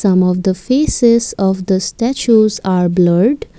some of the faces of the statues are blurred.